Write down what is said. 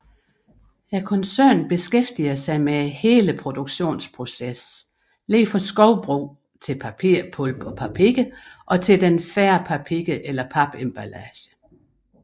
Koncernen beskæftiger sig med hele produktionsprocessen fra skovbrug til papirpulp og papir og til den færdige papir eller papemballage